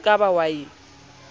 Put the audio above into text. e ka ba ao e